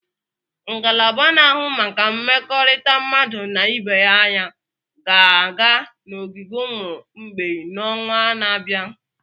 ngalaba na-ahụ maka mmekọrịta mmadụ na ibe aya ga-aga n'ogige ụmụ mgbei n'ọnwa na-abịa?